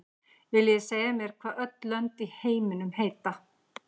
Viljið þið segja mér hvað öll lönd í heiminum heita?